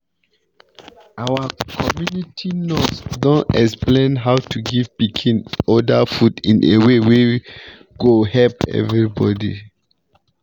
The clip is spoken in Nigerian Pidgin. our community nurse don explain how to give pikin other food in a way wey go help everybody.